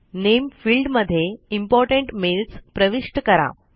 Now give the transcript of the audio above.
नामे field मध्ये important mails प्रविष्ट करा